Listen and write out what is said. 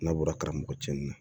N'a bɔra karamɔgɔcili la